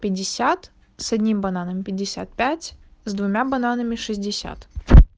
пятьдесят с одним бананом пятьдесят пять с двумя бананами шестьдесят